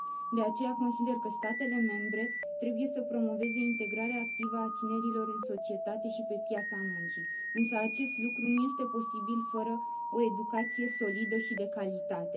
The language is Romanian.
De aceea, consider că statele membre trebuie să promoveze integrarea activă a tinerilor în societate și pe piața muncii, însă acest lucru nu este posibil fără o educație solidă și de calitate.